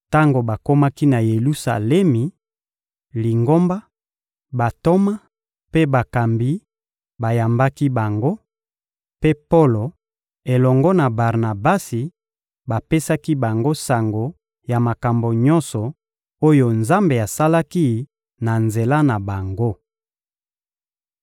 Tango bakomaki na Yelusalemi, Lingomba, bantoma mpe bakambi bayambaki bango; mpe Polo elongo na Barnabasi bapesaki bango sango ya makambo nyonso oyo Nzambe asalaki na nzela na bango.